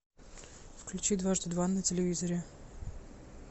включи дважды два на телевизоре